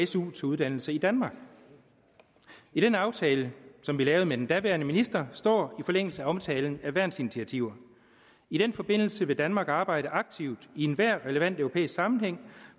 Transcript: su til uddannelse i danmark i den aftale som vi lavede med den daværende minister står i forlængelse af omtalen af værnsinitiativer i den forbindelse vil danmark arbejde aktivt i enhver relevant europæisk sammenhæng